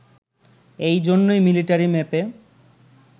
এই জন্যেই মিলিটারি ম্যাপে